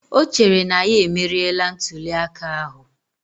O chere na ya emeriela ntuliaka ahụ